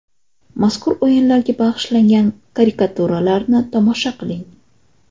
Mazkur o‘yinlarga bag‘ishlangan karikaturalarni tomosha qiling.